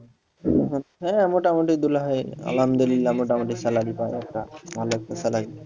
হ্যাঁ মোটামুটি দুলাভাই আলহামদুলিল্লাহ মোটামুটি salary পায় একটা ভালো একটা salary